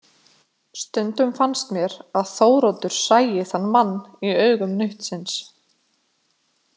Stundum fannst mér að Þóroddur sæi þann mann í augum nautsins.